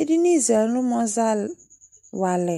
Ɛdini zɛ ɛlumɔ wa alɛ